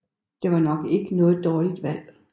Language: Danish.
Det var nok ikke noget dårligt valg